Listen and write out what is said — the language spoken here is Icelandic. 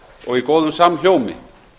og í góðum samhljómi